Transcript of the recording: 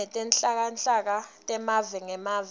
tetenhlalakahle temave ngemave